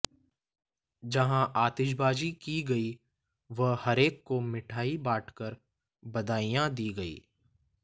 जहां आतिशबाजी की गई व हरेक को मिठाई बांटकर बधाइयां दी गईं